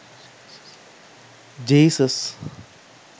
jesus